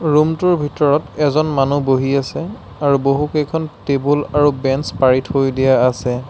Room টোৰ ভিতৰত এজন মানুহ বহি আছে আৰু বহু কেইখন টেবুল আৰু বেঞ্চ পাৰি থৈ দিয়া আছে।